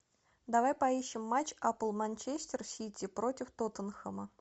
давай поищем матч апл манчестер сити против тоттенхэма